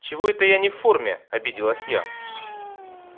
чего это я не в форме обиделась я